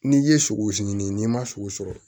N'i ye sogo sigini n'i ma sogo sɔrɔ